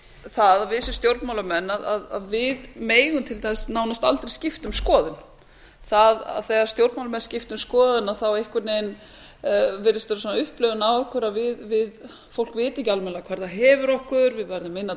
það að við sem stjórnmálamenn að við megum til dæmis nánast aldrei skipta um skoðun þegar stjórnmálamenn skipta um skoðun þá einhvern veginn virðist vera upplifun á okkur að fólk viti ekki almennilega hvar það hefur okkur við verðum minna